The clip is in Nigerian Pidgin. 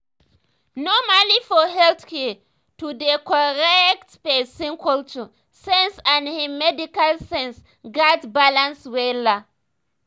normally for healthcare to dey correctpesin cultural sense and hin medical sense gats balance wella